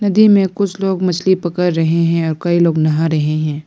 नदी में कुछ लोग मछली पकड़ रहे हैं और कई लोग नहा रहे हैं।